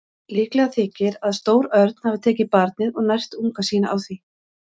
Líklegt þykir að stór örn hafi tekið barnið og nært unga sína á því.